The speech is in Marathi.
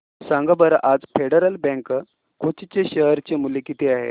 सांगा बरं आज फेडरल बँक कोची चे शेअर चे मूल्य किती आहे